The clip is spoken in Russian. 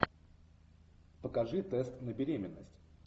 покажи тест на беременность